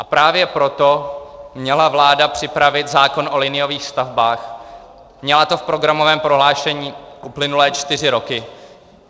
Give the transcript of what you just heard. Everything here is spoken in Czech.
A právě proto měla vláda připravit zákon o liniových stavbách, měla to v programovém prohlášení uplynulé čtyři roky.